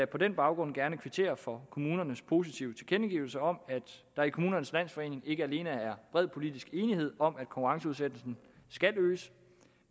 på den baggrund gerne kvittere for kommunernes positive tilkendegivelser om at der i kommunernes landsforening ikke alene er bred politisk enighed om at konkurrenceudsættelsen skal øges